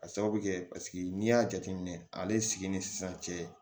Ka sababu kɛ paseke n'i y'a jateminɛ ale sigi ni sisan cɛ